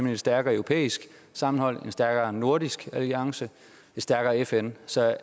et stærkere europæisk sammenhold en stærkere nordisk alliance et stærkere fn så